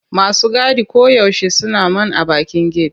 Masu gadi koyaushe suna man a bakin get.